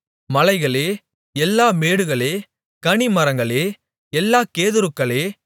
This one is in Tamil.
மலைகளே எல்லா மேடுகளே கனிமரங்களே எல்லா கேதுருக்களே